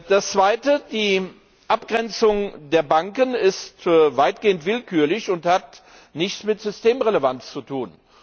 Das Zweite Die Abgrenzung der Banken ist weitgehend willkürlich und hat nichts mit Systemrelevanz zu tun.